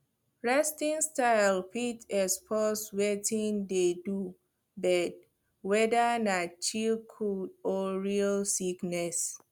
resting style fit expose wetin dey do bird whether na chill cold or real sickness